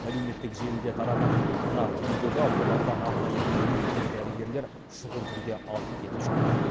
әлеуметтік желдіде тараған мына видеода оларды арнайы киім киген дәрігерлер шұғыл түрде алып кетіп жатыр